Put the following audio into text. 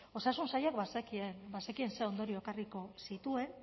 osasun sailak bazekien bazekien ze ondorio ekarriko zituen